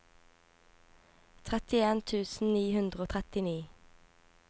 trettien tusen ni hundre og trettini